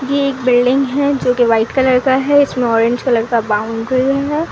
ये एक बिल्डिग है जहां पे व्हाइट कलर का हैं उसमे ऑरेंज का बाउंड्री हैं।